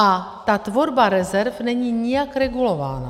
A ta tvorba rezerv není nijak regulována.